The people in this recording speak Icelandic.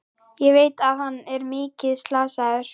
Ég veit að hann er mikið slasaður.